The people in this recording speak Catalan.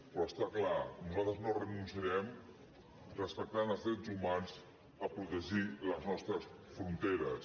però està clar nosaltres no renunciarem respectant els drets humans a protegir les nostres fronteres